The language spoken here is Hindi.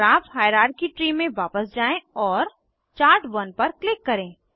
ग्राफ हायरार्की ट्री में वापस जाएँ और चार्ट 1 पर क्लिक करें